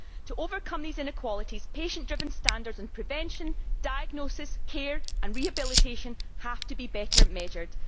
To overcome these inequalities, patient driven standards, prevention, diagnosis, care and rehabilitation have to be better measured.